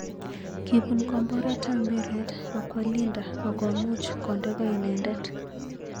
Kibun komboret ap mpiret akwo Leander ak komuch konde ko inendet.